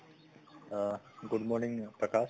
অহ good morning প্ৰকাশ